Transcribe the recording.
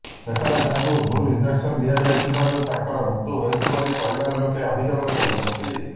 ସେଠାରେ ତାଙ୍କୁ ଭୁଲ ଇଞ୍ଜେକସନ ଦିଆଯାଇଥିବାରୁ ତାଙ୍କର ମୃତ୍ୟୁ ହୋଇଛି ବୋଲି ପରିବାର ଲୋକେ ଅଭିଯୋଗ କରିଛନ୍ତି